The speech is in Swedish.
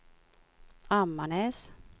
Ammarnäs